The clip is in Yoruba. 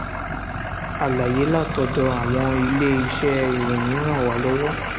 àlàyé látọ̀dọ̀ àwọn ilé-iṣẹ́ ìròyìn ràn wá lọ́wọ́